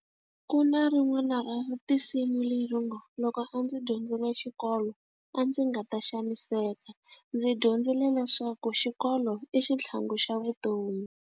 Ku na rin'wana ra tinsimu leri ngo, loko a ndzi dyondzile xikolo a ndzi nga ta xaniseka. Ndzi dyondzile leswaku xikolo i xitlhangu xa vutomi.